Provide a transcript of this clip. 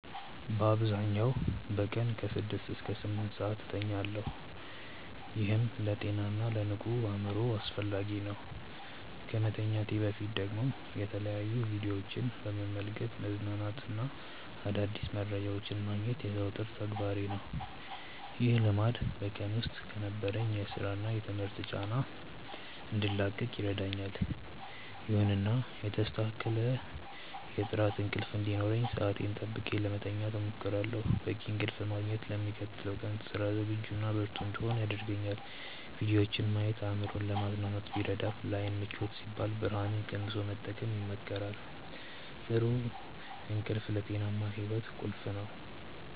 በአብዛኛው በቀን ከ6 እስከ 8 ሰዓት እተኛለሁ፤ ይህም ለጤናና ለንቁ አእምሮ አስፈላጊ ነው። ከመተኛቴ በፊት ደግሞ የተለያዩ ቪዲዮዎችን በመመልከት መዝናናትና አዳዲስ መረጃዎችን ማግኘት የዘወትር ተግባሬ ነው። ይህ ልማድ በቀን ውስጥ ከነበረኝ የሥራና የትምህርት ጫና እንድላቀቅ ይረዳኛል። ይሁንና የተስተካከለ የጥራት እንቅልፍ እንዲኖረኝ ሰዓቴን ጠብቄ ለመተኛት እሞክራለሁ። በቂ እንቅልፍ ማግኘት ለሚቀጥለው ቀን ስራ ዝግጁና ብርቱ እንድሆን ያደርገኛል። ቪዲዮዎችን ማየት አእምሮን ለማዝናናት ቢረዳም፣ ለዓይን ምቾት ሲባል ብርሃኑን ቀንሶ መጠቀም ይመከራል። ጥሩ እንቅልፍ ለጤናማ ሕይወት ቁልፍ ነው።